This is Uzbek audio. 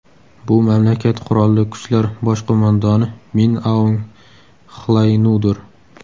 Bu mamlakat Qurolli kuchlar bosh qo‘mondoni Min Aung Xlaynudir.